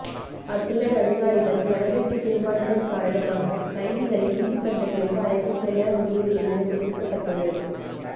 அத்துடன் அதிகாரிகள் கடமைக்கு திரும்பாததன் காரணமாக கைதிகளை நீதிமன்றங்களுக்கு அழைத்து செல்ல முடியவில்லை என தெரிவிக்கப்பட்டுள்ளது